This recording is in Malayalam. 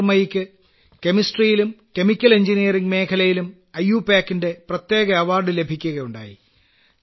ജ്യോതിർമയിയ്ക്ക് കെമിസ്ട്രിയിലും കെമിക്കൽ എഞ്ചിനീയറിംഗ് മേഖലയിലും I U P A C യുടെ പ്രത്യേക അവാർഡ് ലഭിക്കുകയുണ്ടായി